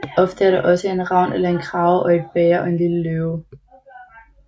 Ofte er der også en ravn eller en krage og et bæger og en lille løve